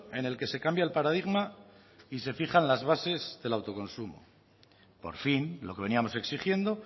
en el que se cambia el paradigma y se fijan las bases del autoconsumo por fin lo que veníamos exigiendo